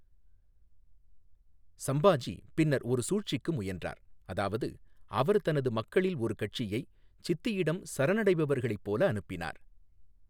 சம்பாஜி பின்னர் ஒரு சூழ்ச்சிக்கு முயன்றார், அதாவது அவர் தனது மக்களில் ஒரு கட்சியை சித்தியிடம் சரணடைபவர்களைப் போல் அனுப்பினார்.